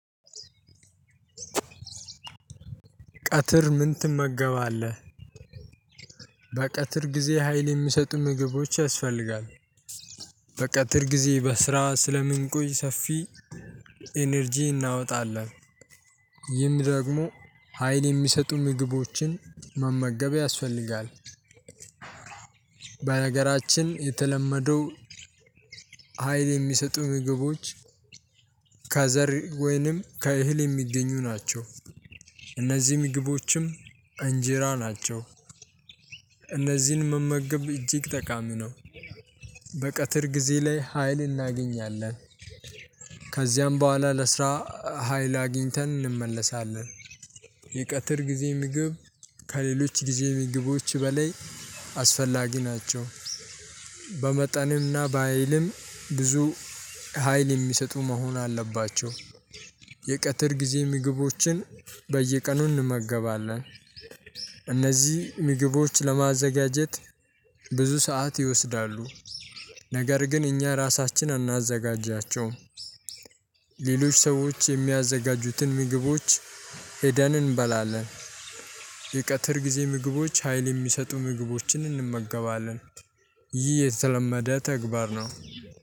ቀትር ምን ትመገባለህ? በቀትር ጊዜ ሀይል የሚሰጡ ምግቦች ያስፈልጋል። በቀትር ጊዜ በስራ ስለምንቆይ ሰፊ ኢነርጂ እናወጣለን ይህም ደግሞ ሀይል የሚሰጡ ምግቦችን መመገብ ያስፈልጋል። በነገራችን የተለመደው ሀይል የሚሰጡ ምግቦች ከዘር ወይንም ከእህል የሚገኙ ናቸው። እነዚህ ምግቦችም እንጂራ ናቸው እነዚህን መመገብ እጅግ ጠቃሚ ነው። በቀትር ጊዜ ላይ ሀይል እናገኛለን ከዛ በኋላ ለስራ ሀይል አግኝተን እንመለሳለን። የቀጠር ጊዜ ምግብ ከሌሎች ጊዜ ምግቦች በላይ አስፈላጊ ናቸው። በመጠንም እና በሃይልም ብዙ ከሃይል የሚሰጡ መሆን አለባቸው። የቀትር ጊዜ ምግቦችን በየቀኑ እንመገባለን። እነዚህ ምግቦች ለማዘጋጀት ብዙ ሰዓት ይወስዳሉ ነገር ግን እኛ ራሳችን አናዘጋጃቸውም። ሌሎች ሰዎች የሚያዘጋጁትን ምግቦች ሄደን እንበላለን። የቀትር ጊዜ ምግቦች ሀይል የሚሰጡ ምግቦችን እንመገባለን ይህ የተለመደ ተግባር ነው